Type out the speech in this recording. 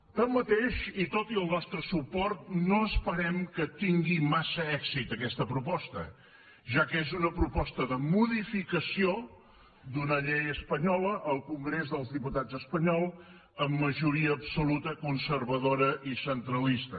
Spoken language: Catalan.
tanmateix i tot i el nostre suport no esperem que tingui massa èxit aquesta proposta ja que és una proposta de modificació d’una llei espanyola al congrés dels diputats espanyol amb majoria absoluta conservadora i centralista